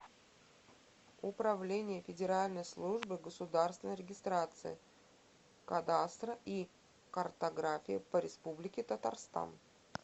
управление федеральной службы государственной регистрации кадастра и картографии по республике татарстан